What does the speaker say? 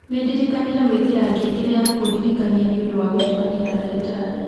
nĩndirikanire gwĩkĩra ngengere ya kũndirikania nĩ ũndũ wa gũcemania na ndagĩtarĩ